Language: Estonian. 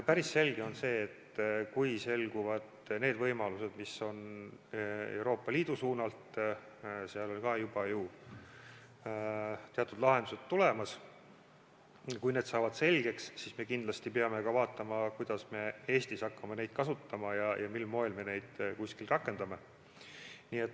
Päris selge on see, et kui selguvad võimalused, mis avanevad Euroopa Liidu suunalt – sealt on ka juba teatud lahendused tulemas –, kui need saavad selgeks, siis me kindlasti peame vaatama, kuidas me Eestis hakkame neid kasutama ja mil moel me neid kuskil rakendame.